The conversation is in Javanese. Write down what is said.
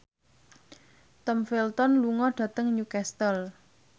Tom Felton lunga dhateng Newcastle